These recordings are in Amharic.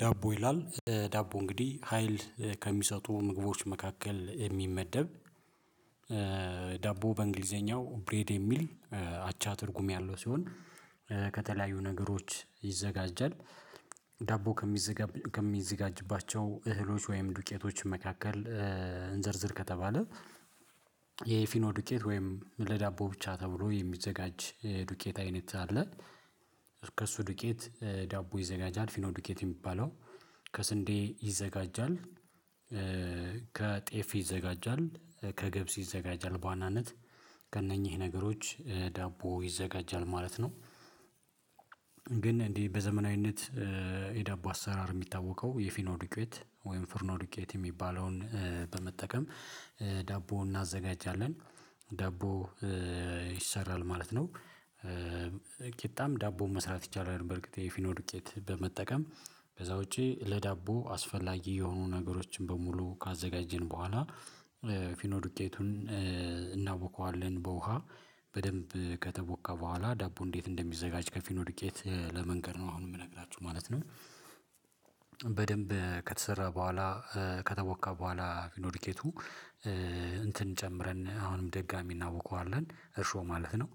ዳቦ ይላል ዳቦ እንግዲህ ሀይል ከሚሰጡ ምግቦች መካከል የሚመደብ። ዳቦ በእንግሊዘኛው ብሬድ የሚል አቻ ትርጉም ያለው ሲሆን ነገሮች ይዘጋጃል። ዳቦ ከሚዘጋ ከሚዘጋጅባቸው እህሎች ወይም ዱቄቶች መካከል። እንዘርዝር ከተባለ የፊኖ ዱቄት ወይም ለዳቦ ብቻ ተብሎ የሚዘጋጅ ዱቄት አይነት አለ። ከእሱ ዱቄት ዳቦ ይዘጋጃል ፊኖ ዱቀት የሚባለው ከስንዴ ይዘጋጃል። ከጤፍ ይዘጋጃል ከገብስ ይዘጋጃል በዋናነት ከእነኚህ ነገሮች ዳቦ ይዘጋጃል ማለት ነው። ግን እንዲህ በዘመናዊነት የዳቦ አሰራር የሚታወቀው የፊኖ ዶቀት ወይም ፍርኖ ዱቀት የሚባለውን በመጠቀም ዳቦ እናዘጋጃለን። ዳቦ ይሰራል ማለት ነው። ቂጣም ዳቦም መስራት ይቻላል። በእርግጥ የፊኖ ድቄት በመጠቀም ከዛ ውጪ ለዳቦ አስፈላጊ የሆኑ ነገሮችን በሙሉ ካዘጋጀን በኋላ። እናቦኳዋለን በውሃ በደንብ ከተቦካ በኋላ ዳቦ እንዴት እንደሚዘጋጅ ከፊኖ ድቄት ለመንገር ነው አሁን የምነግራችሁ ማለት ነው። በደንብ ከተሰራ በኋላ ከተቦካ በኋላ ፊኖ ዱቀቱ እንትን ጨምረን አሁንም ደጋሚ እናቦኳዋለን እርሾ ማለት ነው።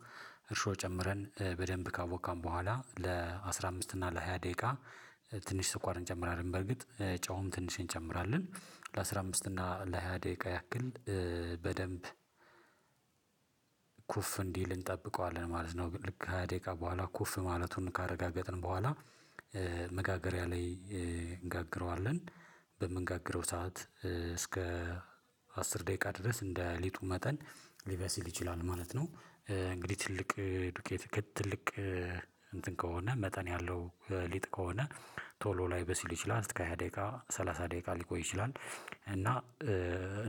እርሾ ጨምረን በደንብ ካቦካን በኋላ ለአሥራ አምስት እና ለሃያ ደቂቃ ትንሽ ስኳርን እንጨምራለን። በርግጥ ጨውም ትንሽ እንጨምራለን ለአሥራ አምስት እና ለሃያ ደቂቃ ያክል በደንብ ኩፍ እንዲል እንጠብቀዋለን ማለት ነው። ልክ ሃያ ደቂቃ በኋላ ኩፍ ማለቱን ካረጋገጥን በኋላ መጋገሪያ ላይ እንጋግረዋለን። በምንጋግረው ሰዓት እስከ አስር ደቂቃ ድረስ እንደ ሊጡ መጠን ሊበስል ይችላል ማለት ነው። እንግዲህ ትልቅ ዱቄት ትልቅ እንትን ከሆነ መጠን ያለው ሊጥ ከሆነ ቶሎ ላይበሲል ይችላል እስከ ሃያ ደቂቃ ሰላሳ ደቂቃ ሊቆይ ይችላል። እና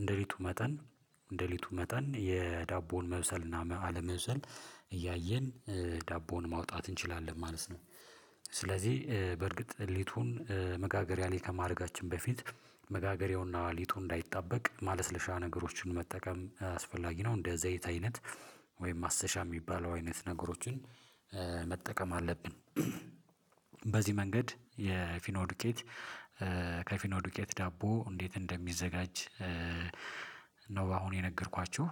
እንደሊጡ መጠን እንደሊጡ መጠን የዳቦውን መብሰል እና አለመብሰል እያየን ዳቦውን ማውጣት እንችላለን ማለት ነው። ስለዚህ በእርግጥ ሊጡን መጋገሪያ ላይ ከማድረጋችን በፊት መጋገሬውና ሊጡ እንዳይጠበቅ ማለስለሻ ነገሮችን መጠቀም አስፈላጊ ነው እንደ ዘይት አይነት ወይም ማስተሻ የሚባለው አይነት ነገሮችን መጠቀም አለብን። በዚህ መንገድ የፊኖ ዱቀት ከፊኖ ዱቀት ዳቦ እንዴት እንደሚዘጋጅ ነው አሁን የነገርኳችሁ።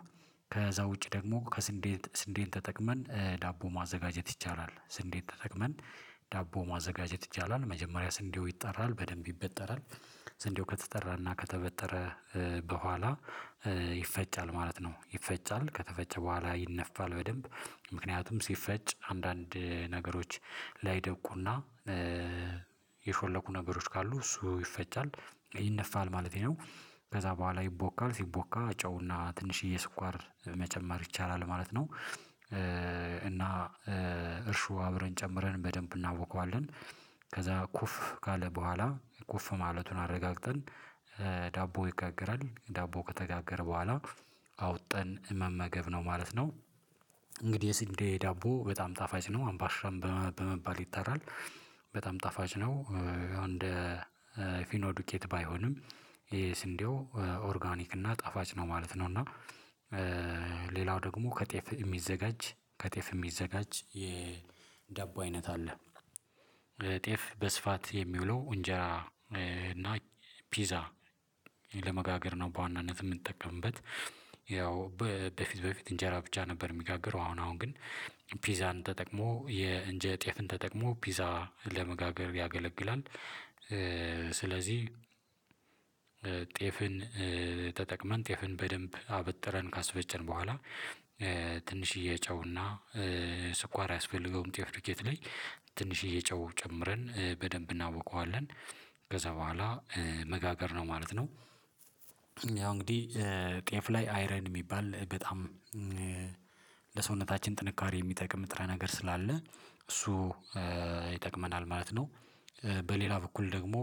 ከዛ ውጪ ደግሞ ከስንዴ ስንዴን ተጠቅመን ዳቦ ማዘጋጀት ይቻላል ስንዴን ተጠቅመን ዳቦ ማዘጋጀት ይቻላል መጀመሪያ ስንዴው ይጠራል በደንብ ይበጠራል ስንዴው ከተጠራና ከተበጠረ በኋላ ይፈጫል ማለት ነው። ይፈጫል ከተፈጨ በኋላ ይነፋል በደንብ ምክንያቱም ሲፈጭ አንዳንድ ነገሮች ላይደብቁና የሾለኩ ነበሮች ካሉ እሱ ይፈጫል ይነፋል ማለቴ ነው። ከዛ በኋላ ይቦካል ሲቦካ ጨውና ትንሽዬ ስኳር መጨመር ይቻላል ማለት ነው። እና እርሹ አብረን ጨምረን በደንብ እናቦኳዋለን ከዛ ኩፍ ካለ በኋላ ኩፍ ማለቱን አረጋግጠን ይጋገራል ዳቦ ከተጋገረ በኋላ አውጥተን መመገብ ነው ማለት ነው። እንግዲህ የሲንዴ ዳቦ በጣም ጣፋጭ ነው አምባሻን በመባል ይጠራል በጣም ጣፋጭ ነው። እንደ ፊኖ ዱቀት ባይሆንም ይሄ ስንዴው ኦርጋኒክ እና ጣፋጭ ነው ማለት ነው። እና ሌላው ደግሞ ከጤፍ የሚዘጋጅ ከጤፍ የሚዘጋጅ የዳቦ አይነት አለ። ጤፍ በስፋት የሚውለው እንጀራ እና ፒዛ ለመጋገር ነው በዋናነት የምንጠቀምበት ያው በፊት በፊት እንጀራ ብቻ ነበር የሚጋግረው አሁን አሁን ግን ፒዛን ተጠቅሞ የእንጃ ጤፍን ተጠቅሞ ፒዛ ለመጋገር ያገለግላል። ስለዚህ ጤፍን ተጠቅመን ጤፍን በደንብ አበጥረን ካስፈጨን በኋላ ትንሽዬ ጨውና ስኳር አያስፈልገውም ጤፍ ዱኬት ላይ ትንሽዬ ጨው ጨምረን በደንብ እናቦኳዋለን ከዛ በኋላ መጋገር ነው ማለት ነው። ያው እንግዲህ ጤፍ ላይ አይረን የሚባል በጣም ለሰውነታችን ጥንካሬ የሚጠቅም ንጥረ ነገር ስላለ እሱ ይጠቅመናል ማለት ነው። በሌላ በኩል ደግሞ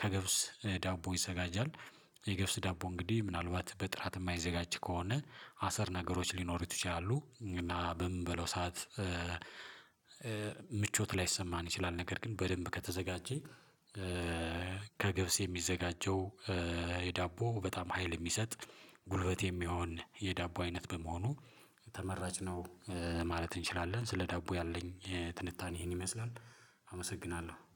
ከገብስ ዳቦ ይዘጋጃል የገብስ ዳቦ እንግዲህ ምናልባት በጥራት የማይዘጋጅ ከሆነ አሰር ነገሮች ሊኖሩት ይችላሉ እና በምንበለው ሰዓት ምቾት ላይሰማን ይችላል ነገር ግን በደንብ ከተዘጋጀ። ከገብስ የሚዘጋጀው የዳቦ በጣም ሀይል የሚሰጥ ጉልበት የሚሆን የዳቦ አይነት በመሆኑ ተመራጭ ነው። ማለት እንችላለን ስለ ዳቦ ያለኝ ትንታኔ ይሄን ይመስላል። አመሰግናለሁ